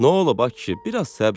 Nə oldu, ay kişi,